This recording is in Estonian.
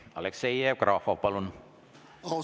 Aleksei Jevgrafov, palun!